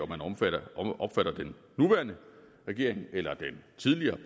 man opfatter den nuværende regering eller den tidligere